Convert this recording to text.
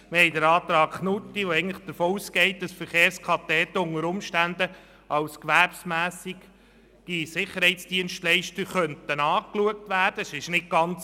Wir haben den Antrag Knutti, der davon ausgeht, dass die Verkehrskadetten unter Umständen als gewerbsmässige Sicherheitsdienstleister angesehen werden könnten.